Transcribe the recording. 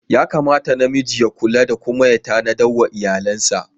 Yakamata na miji ya kula da kuma ya tanada wa iyalinsa.